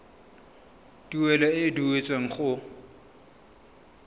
tuelo e e duetsweng go